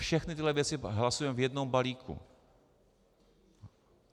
Všechny tyhle věci hlasujeme v jednom balíku.